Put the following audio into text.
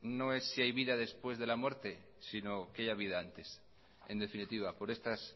no es si hay vida después de la muerte sino que haya vida antes en definitiva por estas